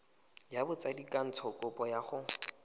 ya botsadikatsho kopo ya go